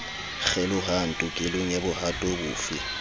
kgelohang tokelong ya bohato bofe